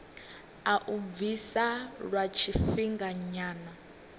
a u bvisa lwa tshifhinganyana